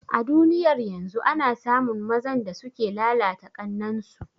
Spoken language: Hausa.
A duniyar yanzu ana samun mazan da suke lalata ƙannan su